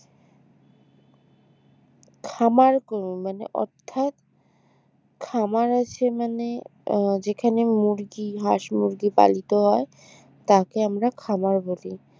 খামার মানে অর্থাৎ খামার আছে মানে যেখানে মুরগি হাঁস মুরগি পালিত হয় তাকে আমরা খামার বলি